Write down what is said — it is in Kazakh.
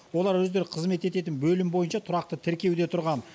олар өздері қызмет ететін бөлім бойынша тұрақты тіркеуде тұрған